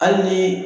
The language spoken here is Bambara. Hali ni